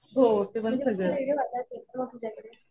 तुझ्याकडे?